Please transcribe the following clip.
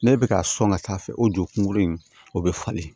N'e bɛ ka sɔn ka taa fɛ o jokun in o bɛ falen